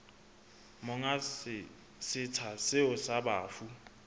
monga setsha seo sa bafu